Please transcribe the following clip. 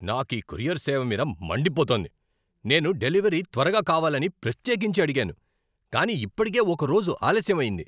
నాకు ఈ కొరియర్ సేవ మీద మండిపోతోంది. నేను డెలివరీ త్వరగా కావాలని ప్రత్యేకించి అడిగాను, కానీ ఇప్పటికే ఒక రోజు ఆలస్యం అయింది!